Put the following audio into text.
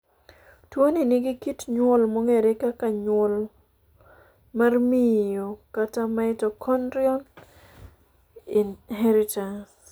Tuoni nigi kit nyuol mong'ere kaka nyuol mar miyo kata mitochondrial inheritance.